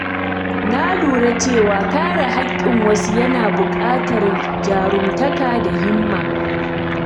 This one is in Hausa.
Na lura cewa kare haƙƙin wasu yana buƙatar jarumtaka da himma.